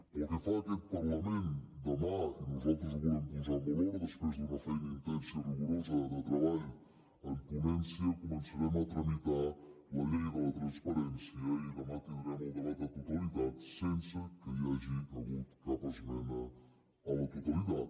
pel que fa a aquest parlament demà i nosaltres ho volem posar en valor després d’una feina intensa i rigorosa de treball en ponència començarem a tramitar la llei de la transparència i demà tindrem el debat de totalitat sense que hi hagi hagut cap esmena a la totalitat